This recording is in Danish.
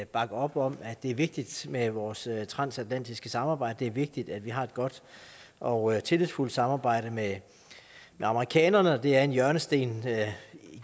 bakker op om at det er vigtigt med vores transatlantiske samarbejde at det er vigtigt at vi har et godt og tillidsfuldt samarbejde med amerikanerne de er en hjørnesten